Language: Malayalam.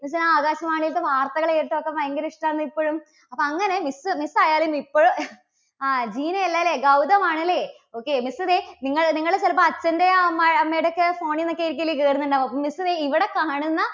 miss ന് ആ ആകാശവാണിത്തെ വാർത്തകള് കേൾക്കുന്ന ഒക്കെ ഭയങ്കര ഇഷ്ടാണ് ഇപ്പഴും. അപ്പോ അങ്ങനെ miss, miss ആയാലും ഇപ്പോ ആ, ജീന അല്ല അല്ലേ? ഗൗതമാണ് അല്ലേ? okay. miss ദേ നിങ്ങൾ നിങ്ങള് ചിലപ്പോൾ അച്ഛൻറെയോ അമ്മ അമ്മയുടെ ഒക്കെ phone ൽ നിന്ന് ഒക്കെ ആയിരിക്കില്ലേ കയറുന്നുണ്ടാവുക, അപ്പോ miss ദേ ഇവിടെ കാണുന്ന